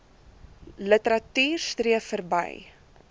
literatuur streef verby